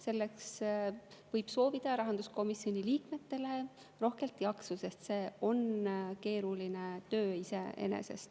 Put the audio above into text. Selleks võib soovida rahanduskomisjoni liikmetele rohkelt jaksu, sest see on iseenesest keeruline töö.